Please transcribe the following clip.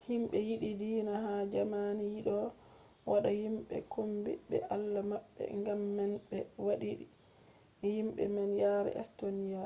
himɓe yiɗi diina ha jamani yiɗino wadda himɓe kombi be allah maɓɓe gam man ɓe waddini himɓe man yare estoniya